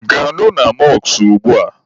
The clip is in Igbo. Gaanụ na mọskụ ugbua!